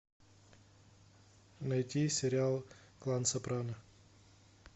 найти сериал клан сопрано